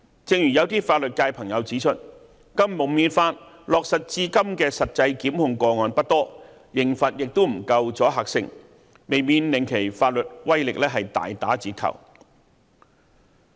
正如有些法律界朋友指出，《禁蒙面法》落實至今的實際檢控個案不多，刑罰亦不夠阻嚇性，未免令其法律威力大打折扣。